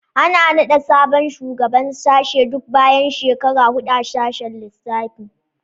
Ana naɗa sabon shugaban sashe duk bayan shekara huɗu a sashen lissafi